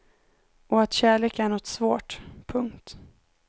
Och att kärlek är något svårt. punkt